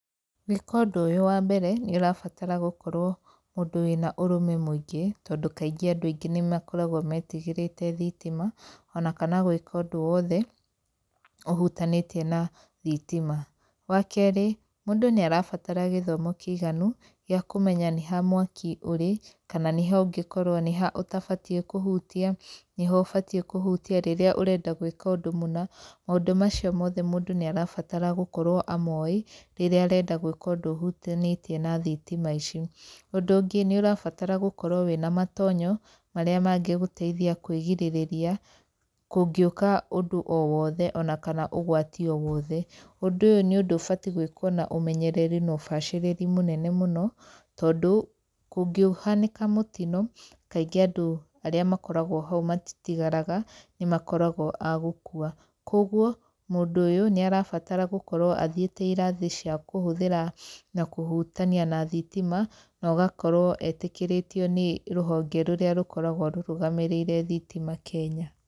Gũika ũndũ ũyũ, wambere nĩ ũrabatara gũkorwo wĩ mũndũ wĩna ũrũme mũingĩ, tondũ kaingĩ andũ nĩ makoragũo metigĩrĩte thitima, onakana gũĩka ũndũ wothe ũhutanĩtie na thitima. Wakeri, mũndũ nĩ arabatara gĩthomo kĩiganu gĩa kũmenya nĩ ha mwaki ũrĩ, kama nĩ ha ũtagĩrĩire nĩ kũhutia, nĩ ha ũbatiĩ kũhutia rĩrĩa ũreka ũndũ mũna. Maũndũ macio mothe mũndũ nĩ arabatara gũkorwo amoĩ rĩrĩa arenda gwĩka ũndũ ũhũtanĩtie na thitima ici. Ũndũ ũngĩ nĩ ũrabatara gũkorwo na matonyo marĩa mangĩgũteithia kwĩrigĩrĩria kũngiũka ũndũ kana ũgwatĩ o wothe. Ũndũ ũyũ nĩ ũndũ wagĩrĩirwo gũĩkwo na ũmenyereri na ũbacirĩri mũnene mũno, tondũ kũngĩhanĩka mũtino, kaingĩ andũ arĩa makoragwo hau matitigaraga, nĩ makoragwo a gũkua. Koguo mũndũ ũyũ nĩ arabatara gũkorwo athiĩte irathi cia kũhũthĩra na kũhutania na thitima, na ũgakorwo etĩkĩrĩtio nĩ rũhonge rũrĩa rũrũgamĩrĩire thitima Kenya.